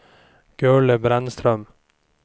Gurli Brännström